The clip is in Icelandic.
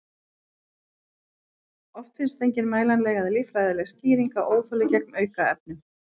Oft finnst engin mælanleg eða líffræðileg skýring á óþoli gegn aukefnum.